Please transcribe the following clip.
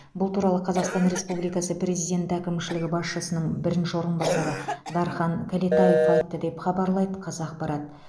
бұл туралы қазақстан республикасы президенті әкімшілігі басшысының бірінші орынбасары дархан кәлетаев айтты деп хабарлайды қазақпарат